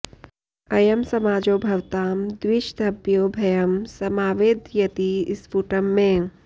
अयं समाजो भवतां द्विषद्भ्यो भयं समावेदयति स्फुटं मे